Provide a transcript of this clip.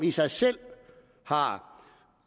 i sig selv har